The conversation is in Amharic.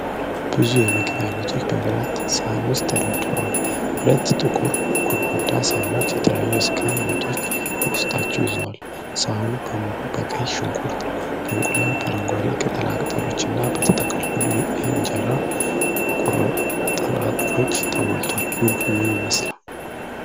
ብዙ የምግብ አይነቶች በብረት ሳህን ውስጥ ተደርድረዋል። ሁለት ጥቁር ጎድጓዳ ሳህኖች የተለያዩ የስጋ ወጦች በውስጣቸው ይዘዋል። ሳህኑ በሙሉ በቀይ ሽንኩርት፣ በእንቁላል፣ በአረንጓዴ ቅጠላ ቅጠሎች እና በተጠቀለሉ የእንጀራ ቁርጥራጮች ተሞልቷል። ምግቡ ምን ይመስላል?